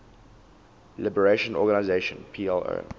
liberation organization plo